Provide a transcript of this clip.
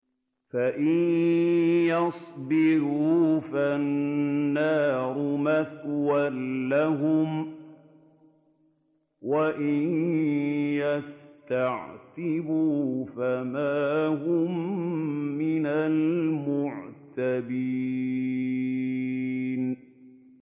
فَإِن يَصْبِرُوا فَالنَّارُ مَثْوًى لَّهُمْ ۖ وَإِن يَسْتَعْتِبُوا فَمَا هُم مِّنَ الْمُعْتَبِينَ